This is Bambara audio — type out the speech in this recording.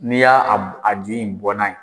N'i y'a a dili in bɔ n'a ye